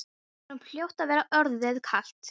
Honum hljóti að vera orðið kalt.